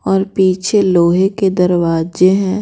और पीछे लोहे के दरवाजे हैं।